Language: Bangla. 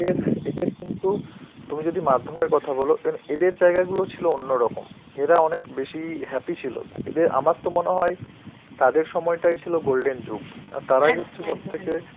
এদের এদের কিন্তু, তুমি যদি মাধ্যমের কথা বলো, এন~ এদের জায়গা গুলো ছিল অন্যরকম. এরা অনেক বেশি happy ছিল. এদের আমার তো মনে হয় তাদের সময়টাই ছিল golden যুগ, আর তারাই কিন্তু সবথেকে